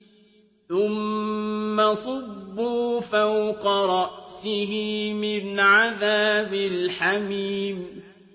ثُمَّ صُبُّوا فَوْقَ رَأْسِهِ مِنْ عَذَابِ الْحَمِيمِ